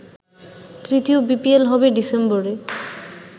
তৃতীয় বিপিএল হবে ডিসেম্বরে।